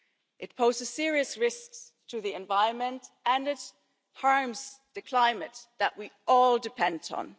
past. It poses serious risks to the environment and it harms the climate that we all depend